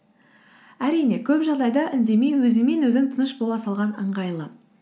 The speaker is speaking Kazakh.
әрине көп жағдайда үндемей өзіңмен өзің тыныш бола салған ыңғайлы